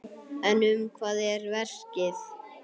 En um hvað er verkið?